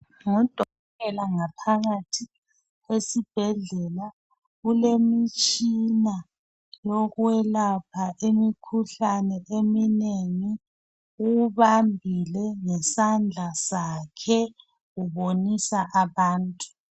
Ngudokotela ngaphakathi esibhedlela kulemitshina yokwelapha imikhuhlane eminengi uwubambile ngesandla sakhe ubonisa abantu.